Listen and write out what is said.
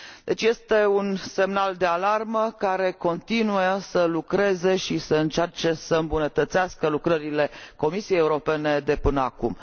Deci, este un semnal de alarmă care continuă să lucreze și să încerce să îmbunătățească lucrările Comisiei Europene de până acum.